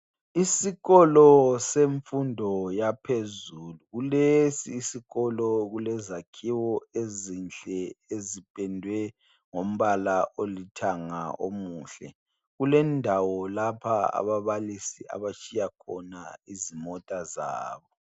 Isikolo semfundo yaphezulu kulesi sikolo kulezakhiwo ezinhle ezipedwe ngombala olithanga omuhle kulendawo lapha ababalisi abatshiya khona izimota zabo.